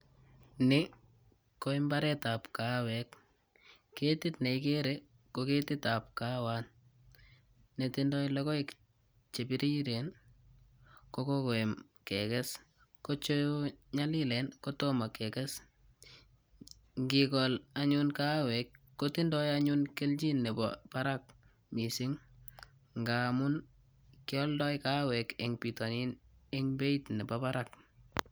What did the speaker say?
Nii ko imbaret ab kaawek ketit neigere ko ketit ab kaawat netindo lokoek chebiriren kokokoam keges ko chenyolilen kotomo kekes nkikol anyun kaawek kotindoi anyun keljin nebo barak missing ngamun kioldoo kaawek en bitonin en beit nebo barak.